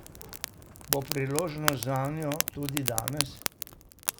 Bo priložnost zanjo tudi danes?